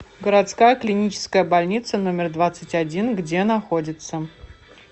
городская клиническая больница номер двадцать один где находится